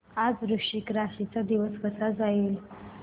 आज वृश्चिक राशी चा दिवस कसा जाईल